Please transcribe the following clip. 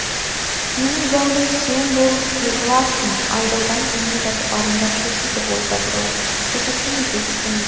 менің зәулім сен болып неғыласың айдаудан келмей жатып арындап жүр дейді ғой базаралы көрсетемін кездесемін деп